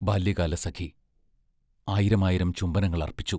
ബാല്യകാലസഖി ആയിരമായിരം ചുംബനങ്ങൾ അർപ്പിച്ചു.